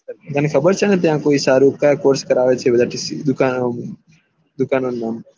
તને ખબર છેને ત્યાં કોઈ સારું ક્યાં કોર્ષ કરાવે છેને દુકાનો માં